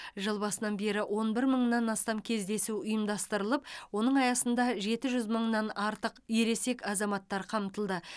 жыл басынан бері он бір мыңнан астам кездесу ұйымдастырылып оның аясында жеті жүз мыңнан артық ересек азаматтар қамтылды